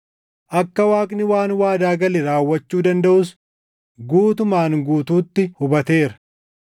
akka Waaqni waan waadaa gale raawwachuu dandaʼus guutumaan guutuutti hubateera.